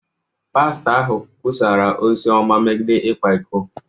Pastọ ahụ kwusara ozi ọma megide ịkwa iko.